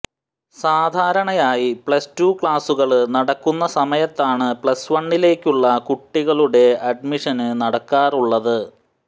സാധാരണയായി plus two ക്ലാസുകള് നടക്കുന്ന സമയത്താണ് പ്ലസ് വണ്ണിലേക്കുള്ള കുട്ടികളുടെ അഡ്മിഷന് നടക്കാറുള്ളത്